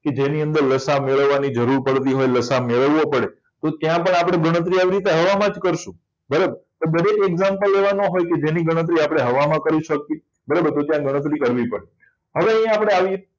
એની અંદર લસાઅ મેળવવાની જરૂર પડતી હોય તેની અંદર લસાઅ મેળવવો પડે તો ત્યાં પણ આપણે ગણતરી આવી હવામાં જ કરશો બરોબર દરેક example એવા ના હોય જેને ગણતરી આપણે હવામાં કરી શકે તો ત્યાં ગણતરી કરવી પડે હવે અહીં આપણે આવીએ